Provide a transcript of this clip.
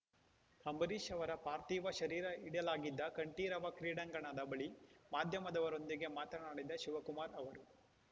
ಅಂಬರೀಷ್‌ ಅವರ ಪಾರ್ಥಿವ ಶರೀರ ಇಡಲಾಗಿದ್ದ ಕಂಠೀರವ ಕ್ರೀಡಾಂಗಣದ ಬಳಿ ಮಾಧ್ಯಮದವರೊಂದಿಗೆ ಮಾತನಾಡಿದ ಶಿವಕುಮಾರ್‌ ಅವರು